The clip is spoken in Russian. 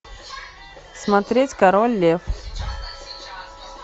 смотреть король лев